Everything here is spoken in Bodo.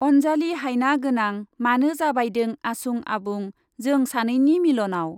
अनजालि हायना गोनां मानो जाबायदों आसुं आबुं जों सानैनि मिल'नाव ।